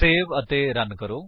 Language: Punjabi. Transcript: ਸੇਵ ਅਤੇ ਰਨ ਕਰੋ